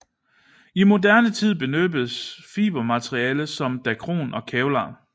I moderne tid benyttes fibermaterialer som dacron og kevlar